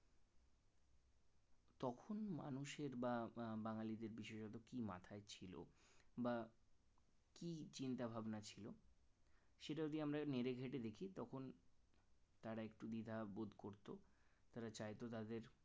কোন মানুষের বা বাঙ্গালীদের বিশেষত কি মাথায় ছিল বা কি চিন্তাভাবনা ছিল সেটা যদি আমরা নেড়ে ঘেঁটে দেখি তখন তারা একটু দ্বিধাবোধ করত তারা চাইতো তাদের